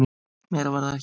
Meira var það ekki.